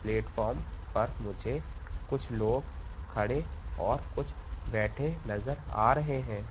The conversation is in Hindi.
प्लेटफार्म पर मुझे कुछ लोग खड़े और कुछ बैठे नजर आ रहे हैं।